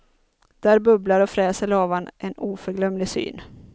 Där bubblar och fräser lavan, en oförglömlig syn.